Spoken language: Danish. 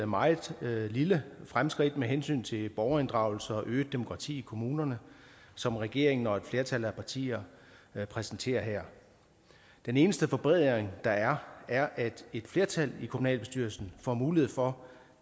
meget lille fremskridt med hensyn til borgerinddragelse og øget demokrati i kommunerne som regeringen og et flertal af partier præsenterer her den eneste forbedring der er er at et flertal i kommunalbestyrelsen får mulighed for